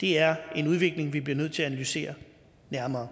det er en udvikling vi bliver nødt til at analysere nærmere